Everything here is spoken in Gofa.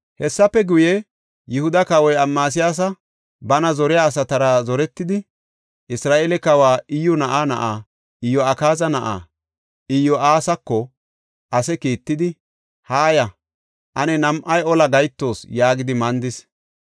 Hessafe guye, Yihuda kawoy Amasiyaasi bana zoriya asatara zoretidi, Isra7eele kawa Iyyu na7aa na7aa, Iyo7akaaza na7aa, Iyo7aasako ase kiittidi, “Haaya; ane nam7ay olaa gahetoos” yaagidi mandis.